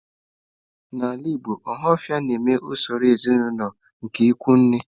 N'ala Igbo, ohafia na-eme usoro ezinaụlọ nke ikwu nne.